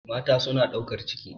Mata suna ɗaukar ciki.